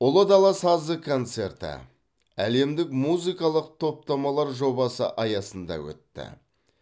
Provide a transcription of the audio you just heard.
ұлы дала сазы концерті әлемдік музыкалық топтамалар жобасы аясында өтті